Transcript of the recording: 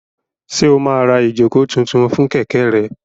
Ṣé o máa ra ìjókòó tuntun fún kẹ̀kẹ́ rẹ?